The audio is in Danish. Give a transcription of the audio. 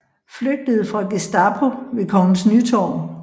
Flygtede fra Gestapo ved Kongens Nytorv